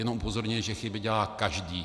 Jenom upozorňuji, že chyby dělá každý.